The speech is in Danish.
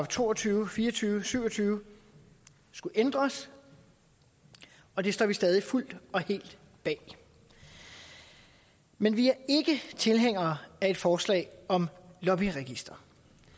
to og tyve fire og tyve og syv og tyve skulle ændres og det står vi stadig fuldt og helt bag men vi er ikke tilhængere af et forslag om et lobbyregister